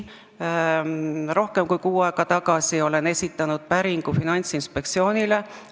Rohkem kui kuu aega tagasi esitasin ma päringu Finantsinspektsioonile.